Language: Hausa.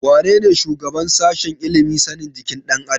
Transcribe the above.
Wanene shugaban sashen ilimin sanin jikin ɗan adam?